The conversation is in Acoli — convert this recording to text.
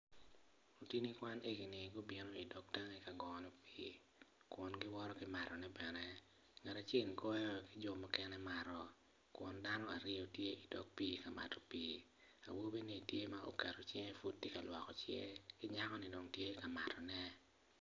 Lutini kwan egini gubino idog tangi ka gono pii kun giwoto ki matone bene ngat acel goyo ki jo mukene woto ki mato kun dano aryo idog pii ka mato pii awobini tye ma oketo cinge pud tye ka lwoko cinge ki nyakoni dong amatone.